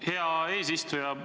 Hea eesistuja!